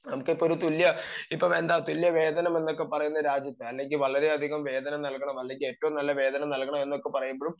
നമുക്ക് ഇപ്പൊ തുല്യ വേതനം എന്നൊക്കെ പറയുന്ന രാജ്യത്ത് വളരെ നല്ല വേതനം നൽകണമെന്ന് അല്ലെങ്കിൽ ഏറ്റവും നല്ല വേതനം നൽകണമെന്ന് പറയുമ്പോഴും